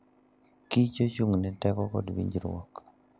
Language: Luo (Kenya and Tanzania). kich ochung'ne teko kod winjruok.